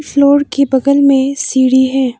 Floor के बगल में सीढ़ी है।